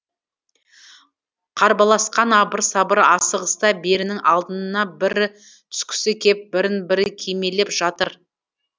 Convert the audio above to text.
қарбаласқан абыр сабыр асығыста бірінің алдына бірі түскісі кеп бірін бірі кимелеп жатыр